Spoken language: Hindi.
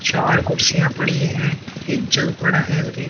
चार कुर्सियां पड़ी हैं एक जल पड़ा है और एक --